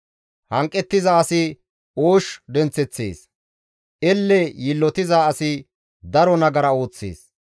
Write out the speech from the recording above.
Hanqettiza asi oosh denththeththees; elle yiillotiza asi daro nagara ooththees.